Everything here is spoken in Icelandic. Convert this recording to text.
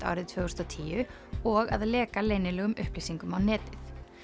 árið tvö þúsund og tíu og að leka leynilegum upplýsingum á netið